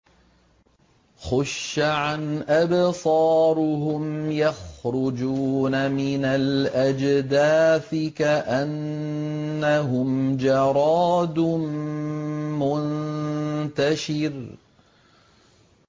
خُشَّعًا أَبْصَارُهُمْ يَخْرُجُونَ مِنَ الْأَجْدَاثِ كَأَنَّهُمْ جَرَادٌ مُّنتَشِرٌ